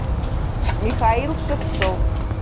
михаил шевцов